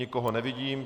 Nikoho nevidím.